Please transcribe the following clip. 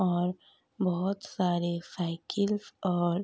और बहुत सारे साइकिल और --